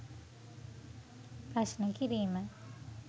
ප්‍රශ්න කිරීම